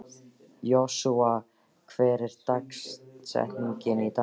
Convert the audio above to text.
Joshua, hver er dagsetningin í dag?